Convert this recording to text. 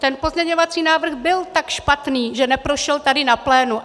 Ten pozměňovací návrh byl tak špatný, že neprošel tady na plénu.